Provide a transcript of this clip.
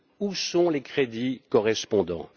Où sont les crédits correspondants?